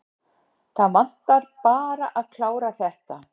Það vantaði bara að klára þetta.